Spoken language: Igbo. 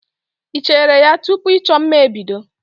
Ị cheere ya tupu ịchọ mma ebido?